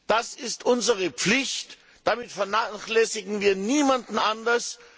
Das ist unsere Pflicht, damit vernachlässigen wir niemanden anders.